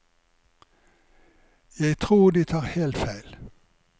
Jeg tror de tar helt feil.